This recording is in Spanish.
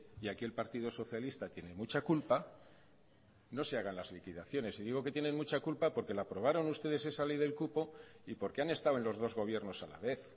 y aquí el partido socialista tiene mucha culpa no se hagan las liquidaciones y digo que tienen mucha culpa porque la aprobaron ustedes esa ley del cupo y porque han estado en los dos gobiernos a la vez